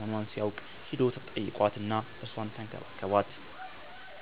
መሆኗን ሲያውቅ ሄዶ ተጠይቋት እና እርሷን ተንከባከባት።